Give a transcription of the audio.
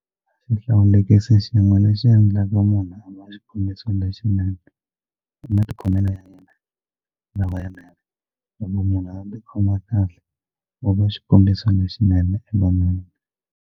Xihlawulekisi xin'we lexi endlaka munhu a va xikombiso lexinene i matikhomelo ya yena lamanene loko munhu a tikhoma kahle wa va xikombiso lexinene evanhwini.